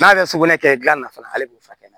N'a bɛ sugunɛ kɛ gilanna fana hali k'o furakɛ